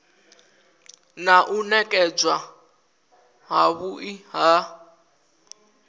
na u nekedzwa havhui ha